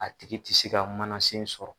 A tigi tɛ se ka manasen sɔrɔ.